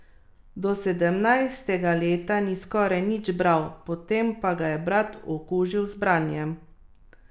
Do sedemnajstega leta ni skoraj nič bral, potem pa ga je brat okužil z branjem.